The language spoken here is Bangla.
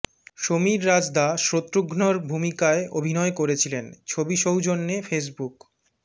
সমীর রাজদা শত্রুঘ্নর ভূমিকায় অভিনয় করেছিলেন ছবি সৌজন্যে ফেসবুক